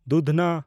ᱫᱩᱫᱷᱱᱟ